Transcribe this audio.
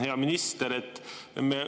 Hea minister!